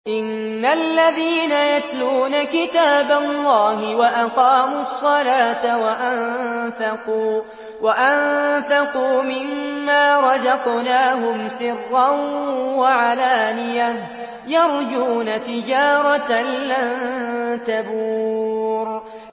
إِنَّ الَّذِينَ يَتْلُونَ كِتَابَ اللَّهِ وَأَقَامُوا الصَّلَاةَ وَأَنفَقُوا مِمَّا رَزَقْنَاهُمْ سِرًّا وَعَلَانِيَةً يَرْجُونَ تِجَارَةً لَّن تَبُورَ